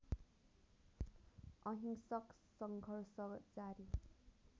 अहिंसक सङ्घर्ष जारी